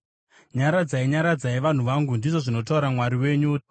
Nyaradzai, nyaradzai vanhu vangu, ndizvo zvinotaura Mwari wenyu.